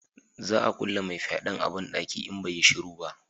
Za a kulle mai fyaden a banɗaki in bai yi shiru ba